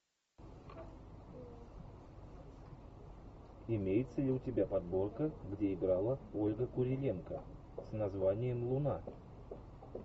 имеется ли у тебя подборка где играла ольга куриленко с названием луна